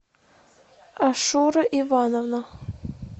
ашура ивановна